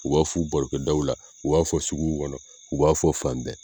U b'a fɔ u barokɛdaw la u b'a fɔ suguw kɔnɔ u b'a fɔ fan bɛɛ